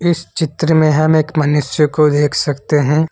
इस चित्र में हम एक मनुष्य को देख सकते हैं।